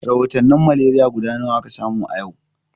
Rahotanin malaria guda nawa aka samu yau?